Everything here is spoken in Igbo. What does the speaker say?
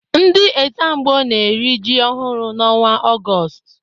Ndị Ẹ́zàmgbó na-eri ji ọhụrụ n'ọnwa Ọgọọst.